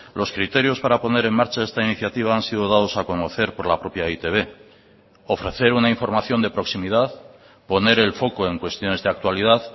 los criterios para poner en marcha esta iniciativa han sido dados a conocer por la propia e i te be ofrecer una información de proximidad poner el foco en cuestiones de actualidad